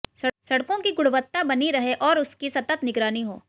सड़कों की गुणवत्ता बनी रहे और उसकी सतत निगरानी हो